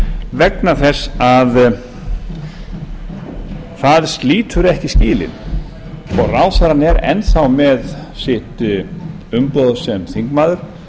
vegna þess að það slítur ekki skilin og ráðherrann er enn þá með sitt umboð sem þingmaður